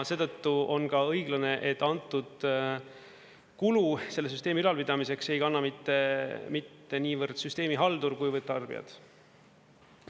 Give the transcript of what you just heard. Seetõttu on ka õiglane, et antud kulu selle süsteemi ülalpidamiseks ei kanna mitte niivõrd süsteemihaldur kuivõrd tarbijad.